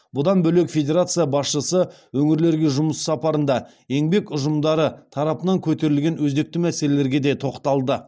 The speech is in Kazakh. бұдан бөлек федерация басшысы өңірлерге жұмыс сапарында еңбек ұжымдары тарапынан көтерілген өзекті мәселелерге де тоқталды